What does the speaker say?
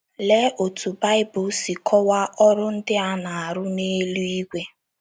Lee otú Baịbụl si kọwaa ọrụ ndị a na - arụ n’eluigwe.